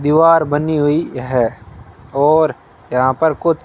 दीवार बनी हुई है और यहां पर कुछ --